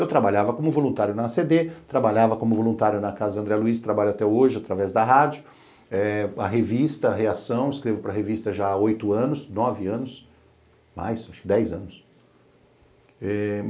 Eu trabalhava como voluntário na a ce dê, trabalhava como voluntário na Casa André Luiz, trabalho até hoje através da rádio, eh a revista Reação, escrevo para revista já há oito anos, nove anos, mais, acho que dez anos.